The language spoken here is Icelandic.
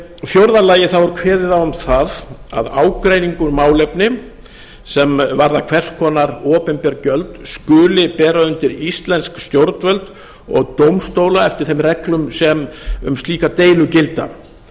fjórða lagi er kveðið á um það að ágreiningur um málefni sem varðar hvers konar opinber gilda skuli bera undir íslensk stjórnvöld og dómstóla eftir þeim reglum sem um slíkar deilur gilda